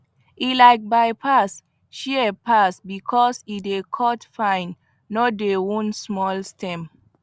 e like bypass shears pass because e dey cut fine no dey wound small stem